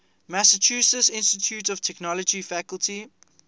massachusetts institute of technology faculty